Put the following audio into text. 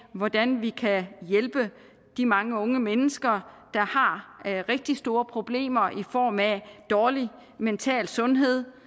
af hvordan vi kan hjælpe de mange unge mennesker der har rigtig store problemer i form af dårlig mental sundhed